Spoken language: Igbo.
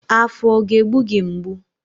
Afọ ọ ga-egbu gị mgbu?